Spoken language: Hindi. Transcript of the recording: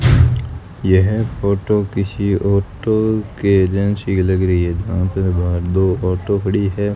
यह फोटो किसी ऑटो के एजेंसी लग रही है वहां पे बाहर दो ऑटो खड़ी है।